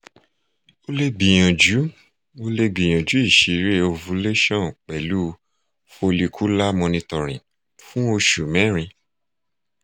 o le gbiyanju o le gbiyanju iṣirẹ ovulation pẹlu folicular monitoring fun osu merin